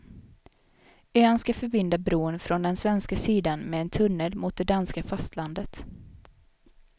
Ön ska förbinda bron från den svenska sidan med en tunnel mot det danska fastlandet.